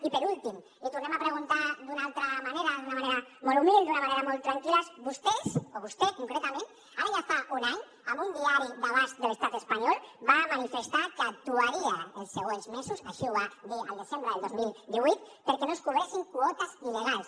i per últim l’hi tornem a preguntar d’una altra manera d’una manera molt humil d’una manera molt tranquil·la vostès o vostè concretament ara ja fa un any en un diari d’abast de l’estat espanyol va manifestar que actuaria els següents mesos així ho va dir el desembre del dos mil divuit perquè no es cobressin quotes il·legals